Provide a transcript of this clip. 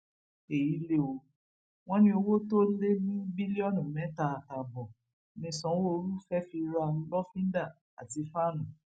èyí lé o wọn ní owó tó lé ní bílíọnù mẹta àtààbọ ní sanwóoru fẹẹ fi ra lọfíńdà àti fàánú